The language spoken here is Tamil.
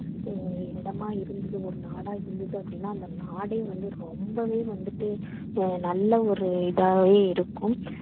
அஹ் இடமா இருந்துது ஒரு நாடா இருந்துது அப்படீன்னா அந்த நாடே வந்து ரொம்பவே வந்துட்டு அஹ் நல்ல ஒரு இதாயி இருக்கும்.